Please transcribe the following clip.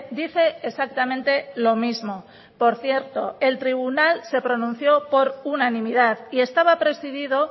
dice exactamente lo mismo por cierto el tribunal se pronunció por unanimidad y estaba presidido